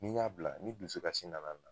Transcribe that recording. N'i y'a bila ni dusu kasi nana na